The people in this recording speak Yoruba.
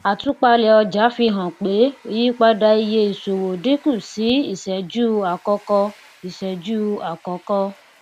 àtúpalẹ ọjà fi hàn pé ìyípadà iye ìṣòwò dínkù sí iṣẹjú àkọkọ iṣẹjú àkọkọ